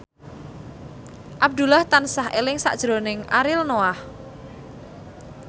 Abdullah tansah eling sakjroning Ariel Noah